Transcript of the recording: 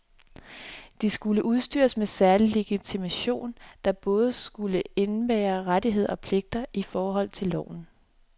De skulle udstyres med særlig legitimation, der både skulle indebære rettigheder og pligter i forhold til loven.